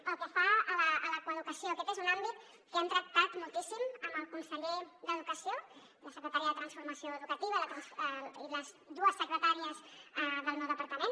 pel que fa a la coeducació aquest és un àmbit que hem tractat moltíssim amb el conseller d’educació la secretària de transformació educativa i les dues secretàries del meu departament